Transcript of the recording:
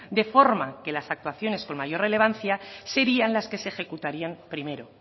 de forma que las actuaciones con mayor relevancia serían las que se ejecutarían primero